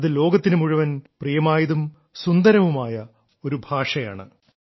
അത് ലോകത്തിനു മുഴുവൻ പ്രിയമായതും സുന്ദരവുമായ ഒരു ഭാഷയാണ്